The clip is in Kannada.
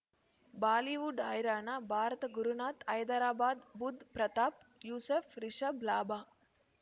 ಬಾಲಿವುಡ್ ಹೈರಾಣ ಭಾರತ ಗುರುನಾಥ ಹೈದರಾಬಾದ್ ಬುಧ್ ಪ್ರತಾಪ್ ಯೂಸುಫ್ ರಿಷಬ್ ಲಾಭ